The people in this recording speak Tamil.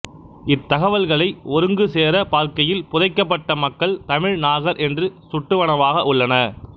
இத்தகவல்களை ஒருங்கு சேரப் பார்க்கையில் புதைக்கப்பட்ட மக்கள் தமிழ் நாகர் என்று சுட்டுவனவாக உள்ளன